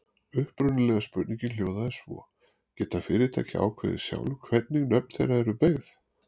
Upprunalega spurningin hljóðaði svo: Geta fyrirtæki ákveðið sjálf hvernig nöfn þeirra eru beygð?